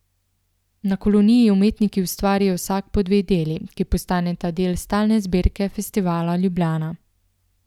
Na koloniji umetniki ustvarijo vsak po dve deli, ki postaneta del stalne zbirke Festivala Ljubljana.